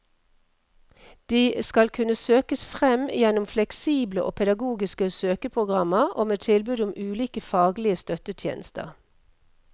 De skal kunne søkes fram gjennom fleksible og pedagogiske søkeprogrammer og med tilbud om ulike faglige støttetjenester.